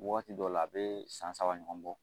Waati dɔw la a bɛ san saba ɲɔgɔn bɔ